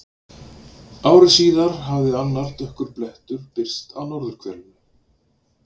Ári síðar hafði annar dökkur blettur birst á norðurhvelinu.